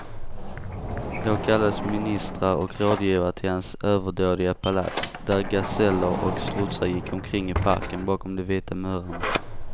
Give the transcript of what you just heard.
Då kallades ministrar och rådgivare till hans överdådiga palats, där gaseller och strutsar gick omkring i parken bakom de vita murarna.